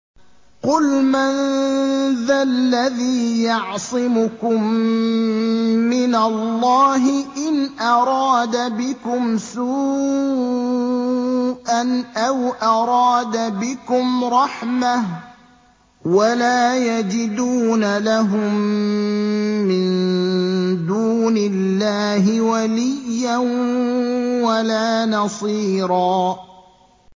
قُلْ مَن ذَا الَّذِي يَعْصِمُكُم مِّنَ اللَّهِ إِنْ أَرَادَ بِكُمْ سُوءًا أَوْ أَرَادَ بِكُمْ رَحْمَةً ۚ وَلَا يَجِدُونَ لَهُم مِّن دُونِ اللَّهِ وَلِيًّا وَلَا نَصِيرًا